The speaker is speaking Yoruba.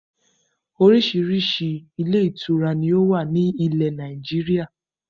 Oríṣiríṣi ilé ìtura ni ó wà ní ilẹ̀ Nàìjíríà